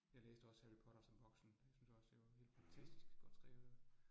Jeg læste også Harry Potter som voksen, jeg synes også, det var helt fantastisk godt skrevet